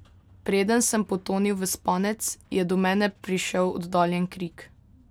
Preden sem potonil v spanec, je do mene prišel oddaljen krik.